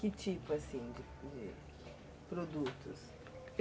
Que tipo, assim, de de produtos?